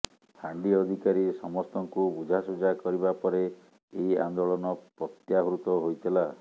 ଫାଣ୍ଡି ଅଧିକାରୀ ସମସ୍ତଙ୍କୁ ବୁଝା ସୁଝା କରିବା ପରେ ଏହି ଆନ୍ଦୋଳନ ପ୍ରତ୍ୟାହୃତ ହୋଇଥିଲା